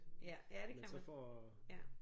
Ja ja det kan man ja